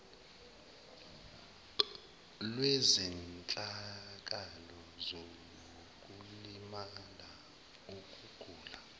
lwezehlakalo zokulimala ukugula